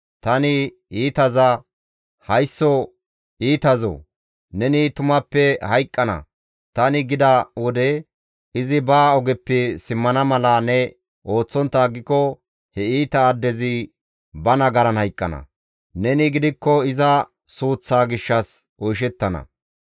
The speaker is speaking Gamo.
Tani iitaza, ‹Haysso iitazoo, neni tumappe hayqqana› tani gida wode, izi ba ogeppe simmana mala ne ooththontta aggiko he iita addezi ba nagaran hayqqana; neni gidikko iza suuththaa gishshas oyshettana.